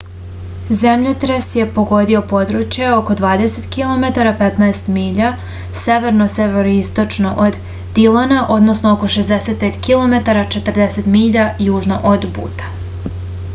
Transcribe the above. земљотрес је погодио подручје око 20 km 15 миља северно-североисточно од дилона односно око 65 km 40 миља јужно од бута